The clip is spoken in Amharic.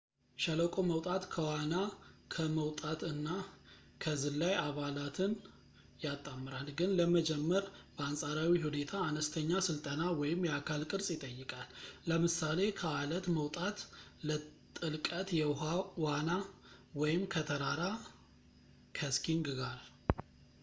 ሸለቆ መውጣት ከዋና፣ ከመውጣት እና ከዝላይ አባላትን ያጣምራል ግን ለመጀመር በአንፃራዊ ሁኔታ አነስተኛ ስልጠና ወይም የአካል ቅርፅ ይጠይቃል ለምሳሌ ከአለት መውጣት፣ ከጥልቀት የውሃ ዋና ወይም ከተራራ ከስኪንግ ጋር